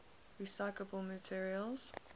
recyclable materials